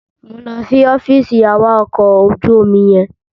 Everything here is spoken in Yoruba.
Mò ń lọ sí ọfíìsì awakọ̀ ojú omi yẹn.